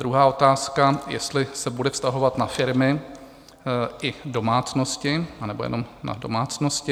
Druhá otázka: Jestli se bude vztahovat na firmy i domácnosti, anebo jenom na domácnosti?